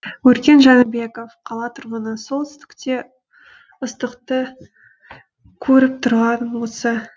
өркен жәнібеков қала тұрғыны солтүстікте ыстықты көріп тұрғаным осы